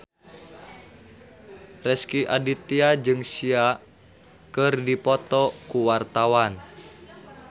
Rezky Aditya jeung Sia keur dipoto ku wartawan